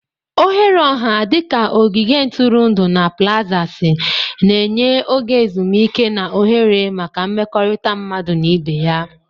Oghere ọha dị ka ogige ntụrụndụ na plazasi na-enye oge ezumike na ohere maka mmekọrịta mmadụ na ibe ya.